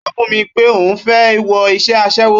Ó sọ fún mi pé òun fẹ́ wọ iṣẹ́ aṣẹ́wó